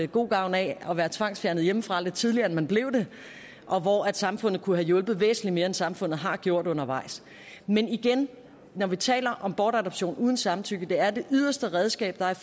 god gavn af at være tvangsfjernet hjemmefra lidt tidligere end man blev det og hvor samfundet kunne have hjulpet væsentligt mere end samfundet har gjort undervejs men igen når vi taler om bortadoption uden samtykke er det det yderste redskab og jeg